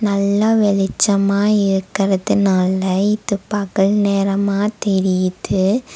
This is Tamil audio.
நல்லா வெளிச்சமா இருக்கறதுனால இது பகல் நேரமா தெரியுது.